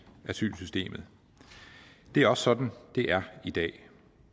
asylsystemet det er også sådan det er i dag